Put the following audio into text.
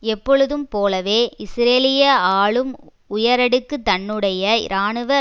எப்பொழுதும் போலவே இஸ்ரேலிய ஆளும் உயரடுக்கு தன்னுடைய இராணுவ